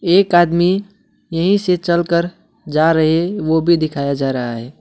एक आदमी यहीं से चलकर जा रहे वो भी दिखाया जा रहा है।